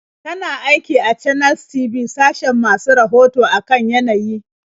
Tana aiki a Channels TV sashin masu rahoto a kan yanayi.